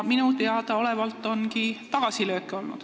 Minu teada ongi olnud tagasilööke.